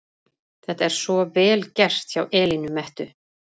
Þetta er svo VEL GERT hjá Elínu Mettu!